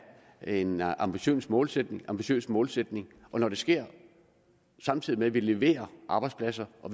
en ambitiøs målsætning ambitiøs målsætning og når det sker samtidig med at vi leverer arbejdspladser og